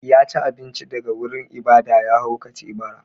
Ya ci abinci daga wurin ibada, ya haukace bara.